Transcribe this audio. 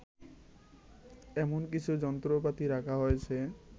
এমন কিছু যন্ত্রপাতি রাখা হয়েছে